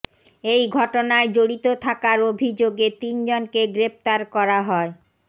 এই ঘটনায় জড়িত থাকার অভিযোগে তিনজনকে গ্রেফতার করা হয়